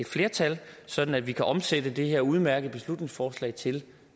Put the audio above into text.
flertal sådan at vi kan omsætte det her udmærkede beslutningsforslag til